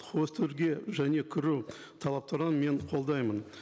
және кіру талаптарын мен қолдаймын